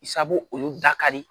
Sabu olu da ka di